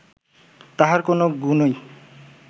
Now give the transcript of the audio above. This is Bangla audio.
তাঁহার কোন গুণই